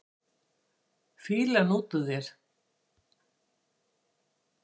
Fýlan út úr þér!